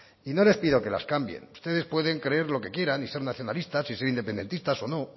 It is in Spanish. y no les pido que las cambien ustedes pueden creer lo que quieran y ser nacionalistas y ser independistas o no